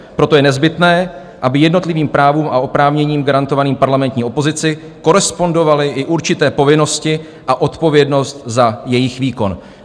Proto je nezbytné, aby jednotlivým právům a oprávněním garantovaným parlamentní opozici korespondovaly i určité povinnosti a odpovědnost za jejich výkon."